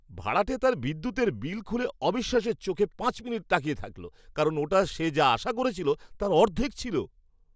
ভাড়াটে তার বিদ্যুতের বিল খুলে অবিশ্বাসের চোখে পাঁচ মিনিট তাকিয়ে থাকলো, কারণ ওটা সে যা আশা করেছিল তার অর্ধেক ছিল।